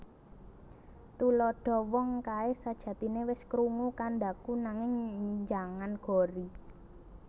Tuladha Wong kae sajatine wis krungu kandhaku nanging njangan gori